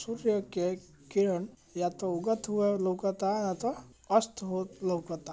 सूर्य के किरण या तो उगत होत लउकता या तो अस्त होत लउकता।